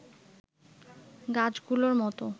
গাছগুলোর মত